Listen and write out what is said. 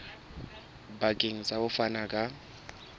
bakeng sa ho fana ka